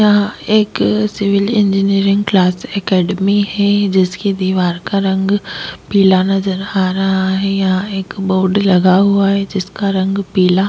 यहाँ एक civil engineering class academy है जिसकी दीवार का रंग पीला नजर आ रहा है यहाँ एक बोर्ड लगा हुआ है जिसका रंग पीला --